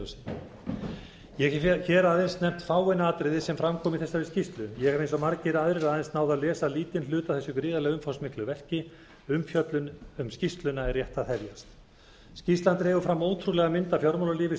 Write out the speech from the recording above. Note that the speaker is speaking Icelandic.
leiðarljósi ég hef aðeins nefnt fáein atriði sem fram koma í þessari skýrslu ég hef eins og margir aðrir aðeins náð að lesa lítinn hluta af þessu gríðarlega umfangsmiklu verki umfjöllun um skýrsluna er rétt á hefjast skýrslan dregur fram ótrúlega mynd af fjármálalífi stjórnmálum